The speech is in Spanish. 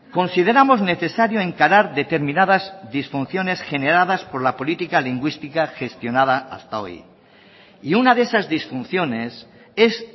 consideramos necesario encarar determinadas disfunciones generadas por la política lingüística gestionada hasta hoy y una de esas disfunciones es